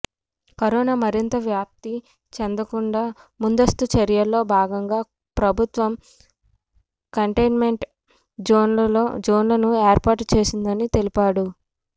corona మరింత వ్యాప్తి చెందకుండా ముందస్తు చర్యల్లో భాగంగా ప్రభుత్వం కంటైన్మెంట్ జోన్లను ఏర్పాటు చేసిందని తెలిపారు